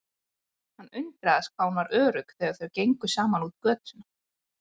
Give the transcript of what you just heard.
Hann undraðist hvað hún var örugg þegar þau gengu saman út á götuna.